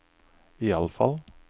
iallfall